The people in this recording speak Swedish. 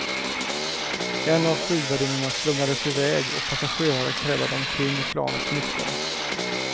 En av flygvärdinnorna slungades i väg och passagerare krälade omkring i planets mittgång.